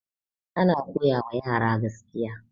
ana koyawa yara gaskiya